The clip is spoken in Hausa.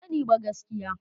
Ban sani ba gaskiya.